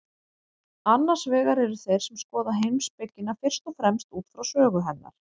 Annars vegar eru þeir sem skoða heimspekina fyrst og fremst út frá sögu hennar.